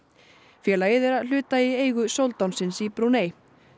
félagið er að hluta í eigu soldánsins í Brúnei